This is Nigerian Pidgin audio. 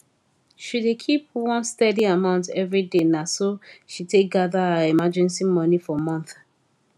she dey keep one steady amount every day na so she take gather her emergency money for months